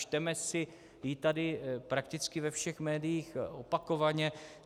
Čteme si ji tady prakticky ve všech médiích opakovaně.